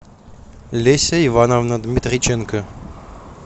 леся ивановна дмитриченко